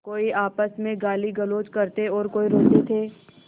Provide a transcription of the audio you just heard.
कोई आपस में गालीगलौज करते और कोई रोते थे